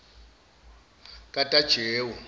katajewo